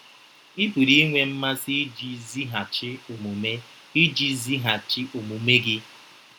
Ị pụrụ inwe mmasị iji zighachi omume iji zighachi omume gị.